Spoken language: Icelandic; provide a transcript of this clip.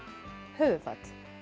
höfuðfat